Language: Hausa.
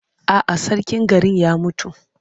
A'a, sarkin garin ya mutu.